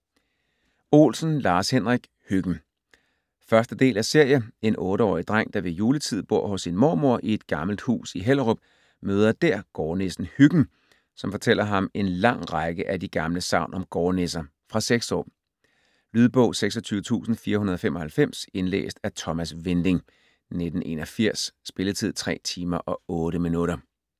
Olsen, Lars-Henrik: Hyggen 1. del af serie. En 8-årig dreng, der ved juletid bor hos sin mormor i et gammelt hus i Hellerup, møder dèr gårdnissen Hyggen, som fortæller ham en lang række af de gamle sagn om gårdnisser. Fra 6 år. Lydbog 26495 Indlæst af Thomas Winding, 1981. Spilletid: 3 timer, 8 minutter.